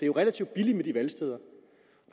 jo relativt billigt med de valgsteder